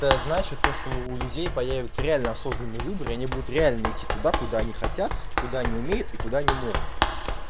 то значит то что у людей появится реально осознанный выбор они будут реально идти туда куда они хотят куда они умеют и куда они могут